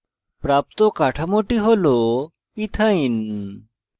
প্রাপ্ত কাঠামোটি হল ইথাইন ethyne